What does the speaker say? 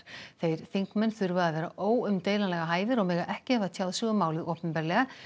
þeir þingmenn þurfa að vera óumdeilanlega hæfir og mega ekki hafa tjáð sig um málið opinberlega